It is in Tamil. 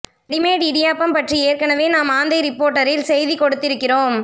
ரெடிமேட் இடியாப்பம் பற்றி ஏற்கனேவே நம் ஆந்தை ரிப்போர்ட்டரில் செய்தி கொடுத்திருக்கிறோம்